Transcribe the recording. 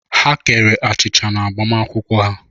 Ha kere achịcha n'agbamakwụkwọ ha.